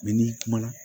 n'i kumana